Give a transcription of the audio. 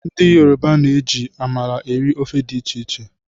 Ndị yoroba na-eji amala eri ofe dị iche iche